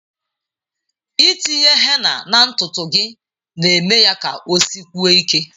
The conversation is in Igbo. Itinye henna na ntutu gị na-eme ya ka osikwue ike.